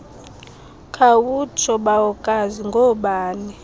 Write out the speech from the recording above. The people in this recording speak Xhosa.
khawutsho bawokazi ngoobani